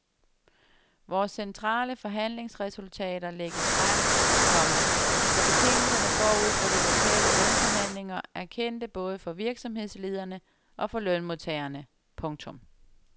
Vores centrale forhandlingsresultater lægges frem, komma så betingelserne forud for de lokale lønforhandlinger er kendte både for virksomhedslederne og for lønmodtagerne. punktum